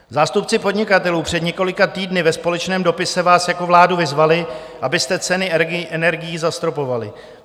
Zástupci podnikatelů před několika týdny ve společném dopisu vás jako vládu vyzvali, abyste ceny energií zastropovali.